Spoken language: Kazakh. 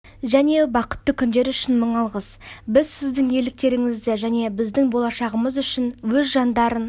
және бақытты күндері үшін мың алғыс біз сіздің ерліктеріңізді және біздің болашағымыз үшін өз жандарын